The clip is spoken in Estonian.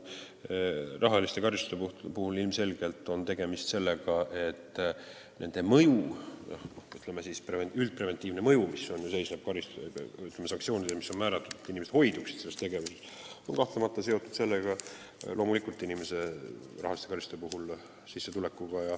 Rahaliste karistuste mõju, üldpreventiivne mõju, mis seisneb sanktsioonides, mida määratakse selleks, et inimesed hoiduksid sellest tegevusest, on kahtlemata seotud inimese sissetulekuga.